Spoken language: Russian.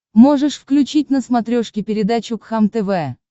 можешь включить на смотрешке передачу кхлм тв